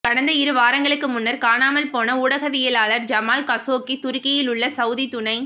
கடந்த இரு வாரங்களுக்கு முன்னர் காணாமல் போன ஊடகவியலாளர் ஜமால் காஷோக்கி துருக்கியில் உள்ள சவுதி துணைத்